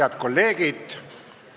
Head kolleegid!